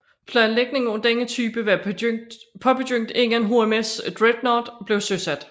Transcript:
Planlægningen af denne type var påbegyndt inden HMS Dreadnought blev søsat